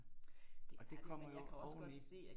Og det kommer jo oveni